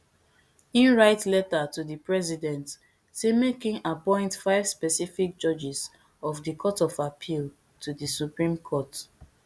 im write letter to di president say make im appoint five specific judges of di court of appeal to di supreme court